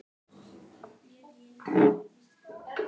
Gefa frí.